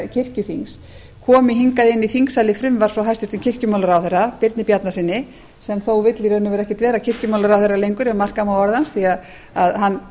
kirkjuþings komi hingað inn í þingsali frumvarp frá hæstvirtum kirkjumálaráðherra birni bjarnasyni sem þó vill í raun og veru ekki vera kirkjumálaráðherra lengur ef marka má orð hans því að hann